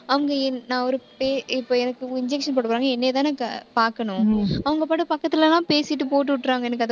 அவங்க என், நான் ஒரு பே~ இப்ப எனக்கு injection போடப்போறாங்க. என்னையதானக்கா பாக்கணும். அவங்க பாட்டுக்கு பக்கத்துல எல்லாம் பேசிட்டு, போட்டு விட்டுர்றாங்க. எனக்கு அதை